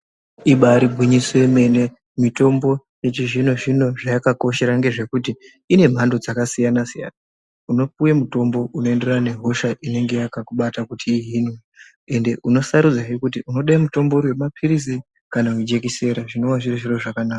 Ibari gwinyiso yemene mitomno yechizvino zvino zvayakakoshera ngezvekuti ine mhando dzakasiyana siyana. Unopuwe mutombo unoyenderana nehosha inenge yakakubata kuti ihinwe, ende unosharudza kuti unode mutombo wemapirizi kana wejekisera zvinova zviri zviro zvakanaka.